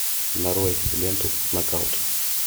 нарой ленту нокаут